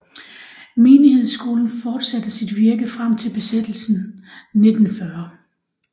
Menighedsskolen fortsatte sit virke frem til besættelsen 1940